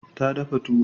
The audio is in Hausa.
Ta dafa tuwo.